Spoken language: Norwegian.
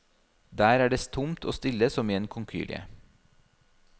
Der er det tomt og stille som i en konkylie.